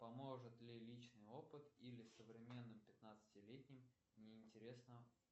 поможет ли личный опыт или современным пятнадцатилетним не интересно